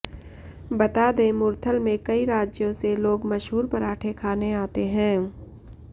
बता दें मुरथल में कई राज्यों से लोग मशहूर पराठें खाने आते हैं